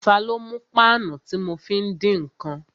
Ta ló mú páànù tí mo fi ń dín ǹkan?